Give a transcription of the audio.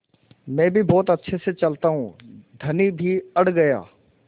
मैं भी बहुत अच्छे से चलता हूँ धनी भी अड़ गया